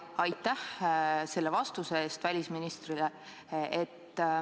Aitäh välisministrile selle vastuse eest!